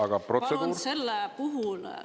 See oli nüüd vastulause, aga protseduur…?